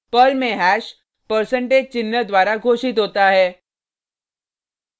Perl में hash percentage चिन्ह द्वारा घोषित होता है